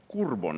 Kurb on.